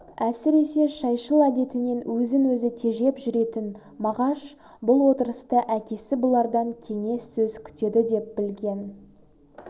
әсіресе шайшыл әдетінен өзін-өзі тежеп жүретін мағаш бұл отырыста әкесі бұлардан кеңес сөз күтеді деп білген